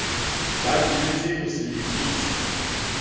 ba dumetse ho se lefise